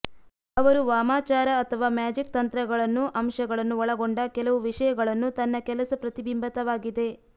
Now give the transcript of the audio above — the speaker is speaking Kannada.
ಅವರು ವಾಮಾಚಾರ ಅಥವಾ ಮ್ಯಾಜಿಕ್ ತಂತ್ರಗಳನ್ನು ಅಂಶಗಳನ್ನು ಒಳಗೊಂಡ ಕೆಲವು ವಿಷಯಗಳನ್ನು ತನ್ನ ಕೆಲಸ ಪ್ರತಿಬಿಂಬಿತವಾಗಿದೆ